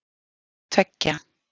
tveggja